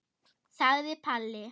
sagði Palli.